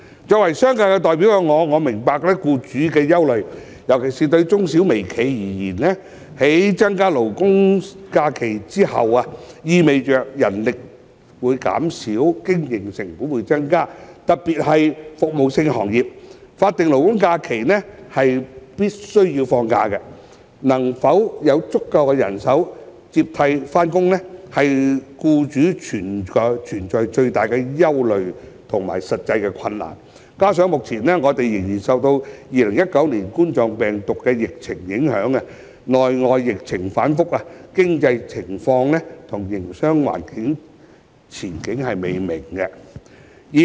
作為商界代表，我明白僱主的憂慮，尤其對中小微企而言，在增加勞工假期後，意味人力將會減少，營運成本亦會增加，特別是服務性行業，僱員在法定勞工假期必須放假，能否有足夠人手接替上班，是僱主面對的最大憂慮和實際困難；加上目前我們仍受2019冠狀病毒病疫情影響，內外疫情反覆，經濟情況與營商環境前景未明。